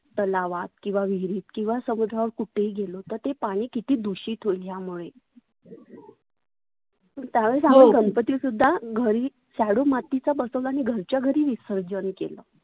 तलावात किंवा विहिरीत किंवा समुद्रावर कुठे ही गेलो तर ते पाणि किती दुषित होईल ह्यामुळे. त्यावेळेस आम्ही गणपती सुद्धा घरी shadow मातीचा बसवला आणि घरच्या घरी विसर्जन केलं.